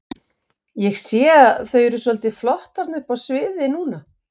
Ég sé að þau eru svolítið flott þarna uppi á sviði núna?